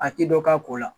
A ti dɔ k'a ko la